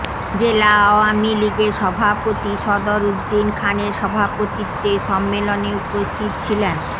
জেলা আওয়ামী লীগের সভাপতি সদর উদ্দিন খানের সভাপতিত্বে সম্মেলনে উপস্থিত ছিলেন